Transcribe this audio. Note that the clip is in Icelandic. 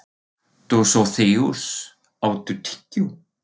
Dósóþeus, áttu tyggjó?